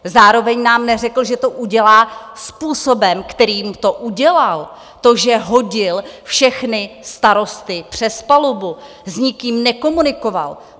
Zároveň nám neřekl, že to udělá způsobem, kterým to udělal, to, že hodil všechny starosty přes palubu, s nikým nekomunikoval.